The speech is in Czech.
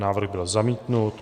Návrh byl zamítnut.